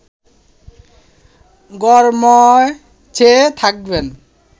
ঘরময় চেয়ে থাকবেন